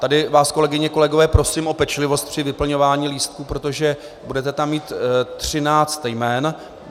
Tady vás, kolegyně, kolegové, prosím o pečlivost při vyplňování lístků, protože budete tam mít 13 jmen.